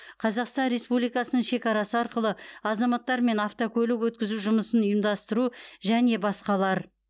қазақстан республикасының шекарасы арқылы азаматтар мен автокөлік өткізу жұмысын ұйымдастыру және басқалар